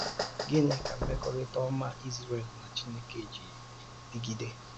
Gịnị ka mmekọrịta ọma Izrel na Chineke ji dịgide?